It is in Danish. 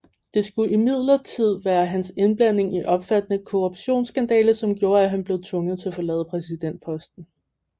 Det skulle imidlertid være hans indblanding i en omfattende korruptionsskandale som gjorde at han blev tvunget til at forlade præsidentposten